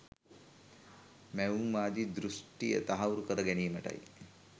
මැවුම්වාදී දෘශ්ටිය තහවුරු කරගැනීමටයි